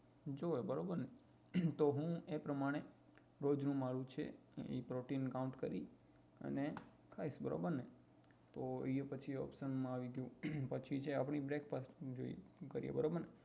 જોઈએ બરોબર ને તો હું એ પ્રમાણે રોજનું મારુ છે પ્રોટીન count કરી અને ખાઇ બરોબર ને તો એ પછી option માં આવી ગયું પછી છે આપણી breakfast